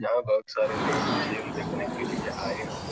यहाँ बहुत सारे लोग खेल देखने के लिए आये हुए --